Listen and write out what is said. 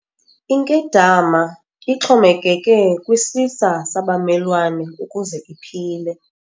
Inkedama ixhomekeke kwisisa sabamelwane ukuze iphile.